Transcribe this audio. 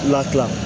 Latila